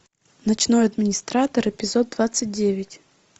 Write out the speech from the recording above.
ночной администратор эпизод двадцать девять